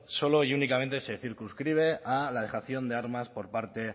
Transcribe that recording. solo y únicamente se circunscribe a la dejación de armas por parte